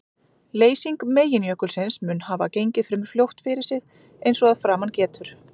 Leysing meginjökulsins mun hafa gengið fremur fljótt fyrir sig eins og að framan getur.